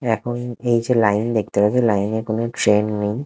এখন এই যে লাইন দেখতে পাচ্ছি লাইনে কোনো ট্রেন নেই ।